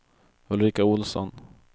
Ulrika Ohlsson